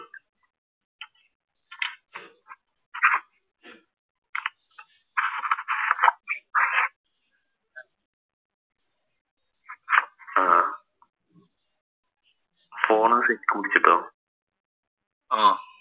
ആഹ്